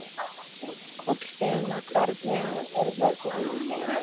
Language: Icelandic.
Kolfinna, hvernig er veðrið í dag?